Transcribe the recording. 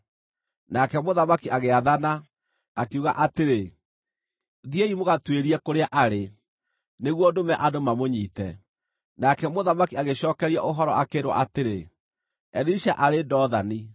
Nake mũthamaki agĩathana, akiuga atĩrĩ, “Thiĩi mũgatuĩrie kũrĩa arĩ, nĩguo ndũme andũ mamũnyiite.” Nake mũthamaki agĩcookerio ũhoro akĩĩrwo atĩrĩ, “Elisha arĩ Dothani.”